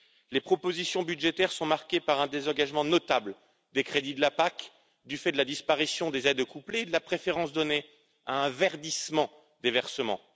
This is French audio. Les propositions budgétaires sont marquées par un désengagement notable des crédits de la PAC, du fait de la disparition des aides couplées et de la préférence donnée à un verdissement des versements.